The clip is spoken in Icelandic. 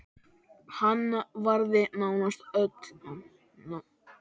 Og gerðu þið það?